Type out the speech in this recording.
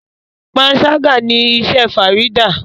panṣaga ní iṣé Farida.